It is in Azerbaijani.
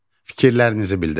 Fikirlərinizi bildirin.